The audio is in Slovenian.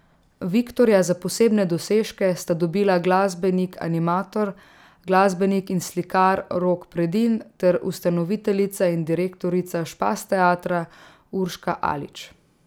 Viktorja za posebne dosežke sta dobila glasbenik animator, glasbenik in slikar Rok Predin ter ustanoviteljica in direktorica Špas teatra Urška Alič.